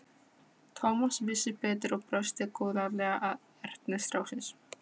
Thomas vissi betur og brosti góðlátlega að ertni stráksins.